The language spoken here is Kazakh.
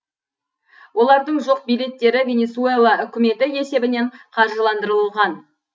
олардың жол билеттері венесуэла үкіметі есебінен қаржыландырылған